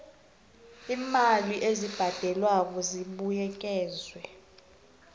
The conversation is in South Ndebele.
iimali ezibhadelwako zibuyekezwa